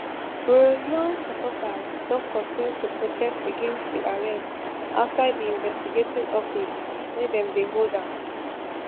proyoon supporters don continue to protest against di arrest outside di investigating office wia dem dey hold am